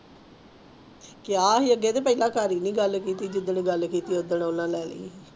ਕੀਆ ਹੀ ਅਗੇ ਤੇ ਸਾਰੀ ਨਹੀਂ ਗੱਲ ਕੀਤੀ ਜਿਦਾਂ ਗੱਲ ਕੀਤੀ ਓਹਨਾ ਨੇ